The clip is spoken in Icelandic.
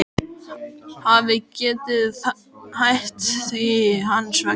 Hafi getað hætt því hans vegna.